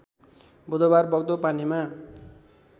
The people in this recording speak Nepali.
बुधबार बग्दो पानीमा